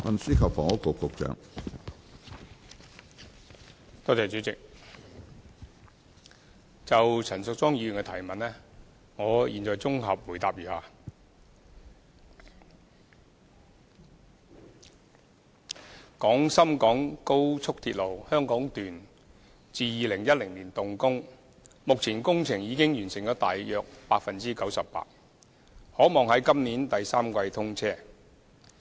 主席，就陳淑莊議員的主體質詢，我現在答覆如下：廣深港高速鐵路香港段自2010年動工，目前工程已經完成了大約 98%， 可望在今年第三季通車。